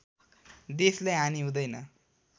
देशलाई हानि हुँदैन